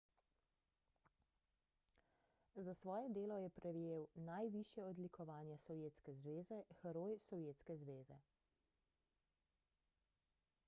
za svoje delo je prejel najvišje odlikovanje sovjetske zveze heroj sovjetske zveze